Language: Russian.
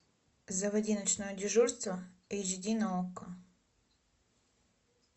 заводи ночное дежурство эйч ди на окко